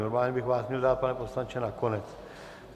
Normálně bych vás měl dát, pane poslanče, na konec.